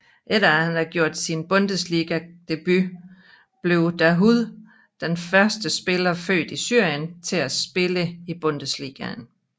Efter at han gjorde sin Bundesliga debut blev Dahoud den første spiller født i Syrien til at spille i Bundesligaen